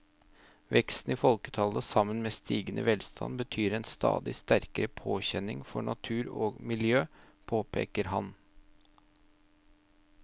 Veksten i folketallet sammen med stigende velstand betyr en stadig sterkere påkjenning for natur og miljø, påpeker han.